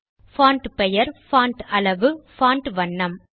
font பெயர் font அளவு font வண்ணம்